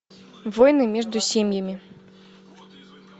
войны между семьями